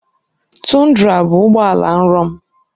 Tundra bụ ụgbọ ala nrọ m.